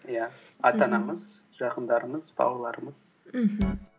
иә ата анамыз жақындарымыз бауырларымыз мхм